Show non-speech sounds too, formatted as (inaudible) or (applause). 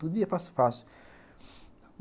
(unintelligible) fácil, fácil.